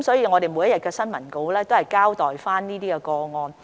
我們每天的新聞公告會交代有關個案。